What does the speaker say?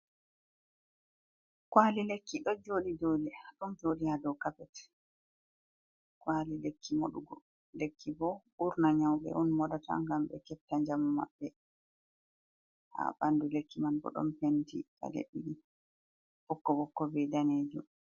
''Kwaali'' lekki ɗo jooɗi haa dow kaapet. ''Kwaali'' lekki moɗugo. Lekki bo ɓurnaa nyawbe on moɗata ngam ɓe keɓta njamu maɓɓe. Haa ɓanndu lekki man bo ɗon penti ɓokko-ɓokko bee daneeju.